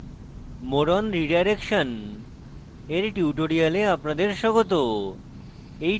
more on redirection dear tutorial আপনাদর স্বাগত